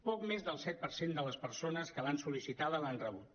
poc més del set per cent de les persones que l’han sol·licitada l’han rebut